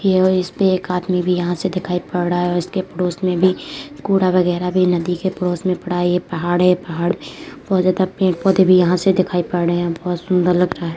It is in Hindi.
यह इस पे एक आदमी भी यहाँं से दिखाई पड़ रहा है और इसके पड़ोस में भी कूड़ा वगेरा भी नदी के पड़ोस में पड़ा ये पड़ाड़ है। पहाड़ पे बहुत ज्यादा पेड़-पौधे भी यहाँं से दिखाई पड़ रहे हैं। बहुत सुंदर लग रहा है।